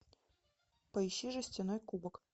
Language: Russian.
поищи жестяной кубок